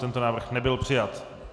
Tento návrh nebyl přijat.